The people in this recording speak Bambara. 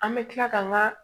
An bɛ tila ka n ka